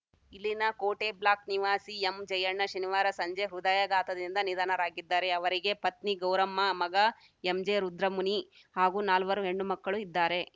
ಇಲ್ಲಿನ Kote block M Jayanna ಜಯಣ್ಣ ಶನಿವಾರ ಸಂಜೆ ಹೃದಯಾಘಾತದಿಂದ ನಿಧನರಾಗಿದ್ದಾರೆ ಅವರಿಗೆ ಪತ್ನಿ ಗೌರಮ್ಮ ಮಗ ಎಂಜೆ ರುದ್ರಮುನಿ ಹಾಗೂ ನಾಲ್ವರು ಹೆಣ್ಣು ಮಕ್ಕಳು ಇದ್ದಾರೆ